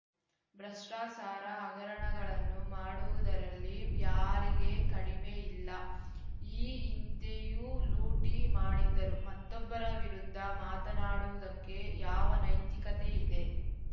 ಭ್ರಷ್ಟಾಚಾರ ಹಗರಣಗಳನ್ನು ಮಾಡುವುದರಲ್ಲಿ ಯಾರಿಗೆ ಕಡಿಮೆ ಇಲ್ಲ ಈ ಹಿಂದೆಯೂ ಲೂಟಿ ಮಾಡಿದ್ದರು ಮತ್ತೊಬ್ಬರ ವಿರುದ್ಧ ಮಾತನಾಡುವುದಕ್ಕೆ ಯಾವ ನೈತಿಕತೆ ಇದೆ